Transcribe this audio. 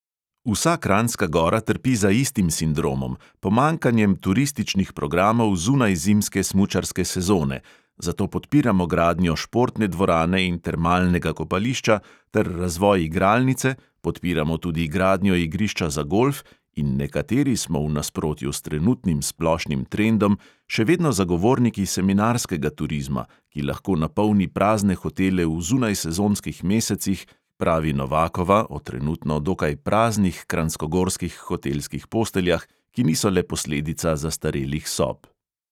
Vsa kranjska gora trpi za istim sindromom pomanjkanjem turističnih programov zunaj zimske smučarske sezone, zato podpiramo gradnjo športne dvorane in termalnega kopališča ter razvoj igralnice, podpiramo tudi gradnjo igrišča za golf in nekateri smo v nasprotju s trenutnim splošnim trendom še vedno zagovorniki seminarskega turizma, ki lahko napolni prazne hotele v zunajsezonskih mesecih, pravi novakova o trenutno dokaj praznih kranjskogorskih hotelskih posteljah, ki niso le posledica zastarelih sob.